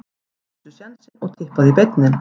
Taktu sénsinn og Tippaðu í beinni.